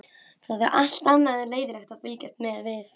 Það er allt annað en leiðinlegt að fylgjast með við